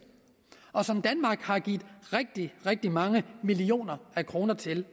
og som danmark har givet rigtig rigtig mange millioner kroner til